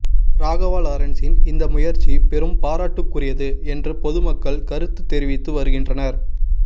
ராகவா லாரன்சின் இந்த முயற்சி பெரும் பாராட்டுக்குரியது என்று பொதுமக்கள் கருத்து தெரிவித்து வருகின்றனர்